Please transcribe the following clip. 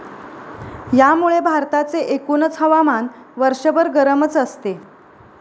यामुळे भारताचे एकूणच हवामान वर्षभर गरमच असते.